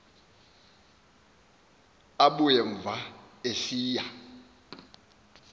abuya umva esiya